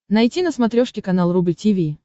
найти на смотрешке канал рубль ти ви